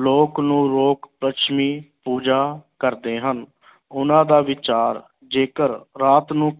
ਲੋਕ ਨੂੰ ਲੋਕ ਲੱਛਮੀ ਪੂਜਾ ਕਰਦੇ ਹਨ ਉਹਨਾਂ ਦਾ ਵਿਚਾਰ ਜੇਕਰ ਰਾਤ ਨੂੰ